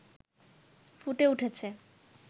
ফুটে উঠেছে